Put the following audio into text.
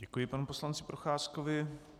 Děkuji panu poslanci Procházkovi.